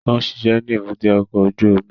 Ó ń ṣiṣẹ́ ní èbúté ọkọ̀ ojú omi